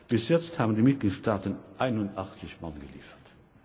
Bis jetzt haben die Mitgliedstaaten 81 Mann geliefert.